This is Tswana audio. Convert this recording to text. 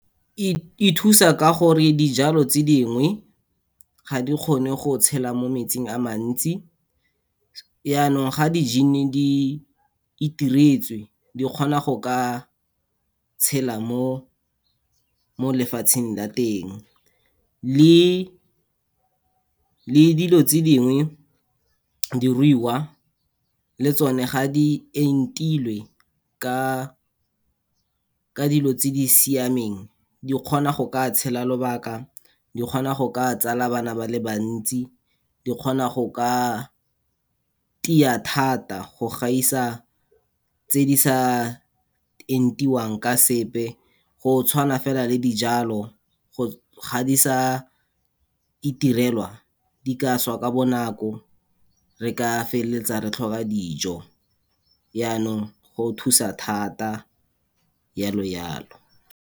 E thusa ka gore dijalo tse dingwe ga di kgone go tshela mo metsing a mantsi, yanong ga di-gene-e di itiretswe di kgona go ka tshela mo lefatsheng la teng. le dilo tse dingwe, diruiwa le tsone ga di entilwe ka dilo tse di siameng, di kgona go ka tshela lobaka, di kgona go ka tsala bana ba le bantsi, di kgona go ka tia thata go gaisa tse di sa entiwang ka sepe. Go tshwana fela le dijalo, go ga di sa itirelwa, di ka swa ka bonako re ka feleletsa re tlhoka dijo yanong go thusa thata, yalo yalo.